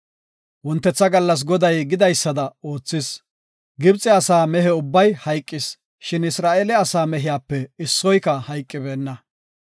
Wontetha gallas Goday gidaysada oothis. Gibxe asaa mehe ubbay hayqis, shin Isra7eele asaa mehiyape issoyka hayqibeenna.